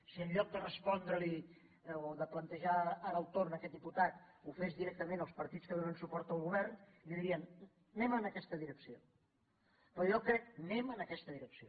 si en lloc de respondre li o de plantejar ara el torn aquest diputat ho fes directament els partits que donen suport al govern li dirien anem en aquesta direcció anem en aquesta direcció